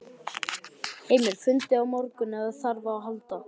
Heimir: Fundið á morgun ef þarf á að halda?